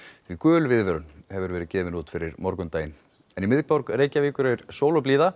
því gul viðvörun hefur verið gefin út fyrir morgundaginn en í miðborg Reykjavíkur er sól og blíða